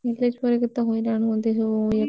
ଏଲେଚପୁର ରେ କେତେ ହଇରାଣ ହୁଅନ୍ତି ସବୁ ଇଏ କରିବା ପାଇଁ।